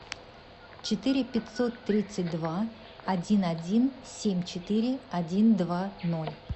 четыре пятьсот тридцать два один один семь четыре один два ноль